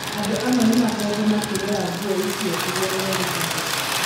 Andũ amwe nĩ makoretwo makĩgũra nguo icio kũgerera Intaneti.